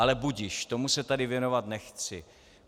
Ale budiž, tomu se tady věnovat nechci.